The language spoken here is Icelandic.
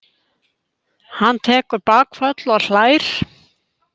Hann tekur bakföll og hlær.